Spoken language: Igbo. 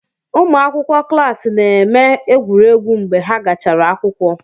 Ụmụ akwụkwọ klaasi na-eme egwuregwu mgbe ha gachara akwụkwọ.